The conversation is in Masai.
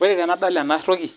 Ore tenadol ena toki